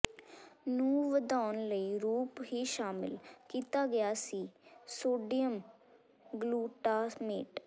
ਨੂੰ ਵਧਾਉਣ ਲਈ ਰੂਪ ਹੀ ਸ਼ਾਮਿਲ ਕੀਤਾ ਗਿਆ ਸੀ ਸੋਡੀਅਮ ਗਲੂਟਾਮੇਟ